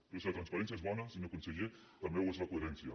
però si la transparència és bona senyor conseller també ho és la coherència